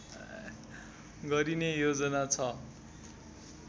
गरिने योजना छ